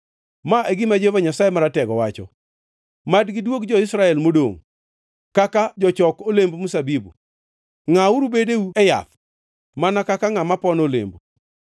Ma e gima Jehova Nyasaye Maratego wacho: “Mad gidwog jo-Israel modongʼ kaka jochok olemb mzabibu; ngʼauru bedeu e bede yath, mana kaka ngʼama pono olemo.”